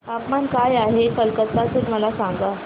तापमान काय आहे कलकत्ता चे मला सांगा